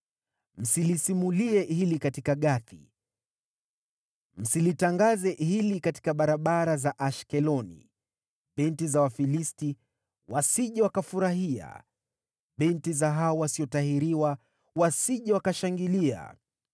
“Msilisimulie hili katika Gathi, msilitangaze hili katika barabara za Ashkeloni, binti za Wafilisti wasije wakafurahia, binti za hao wasiotahiriwa wasije wakashangilia.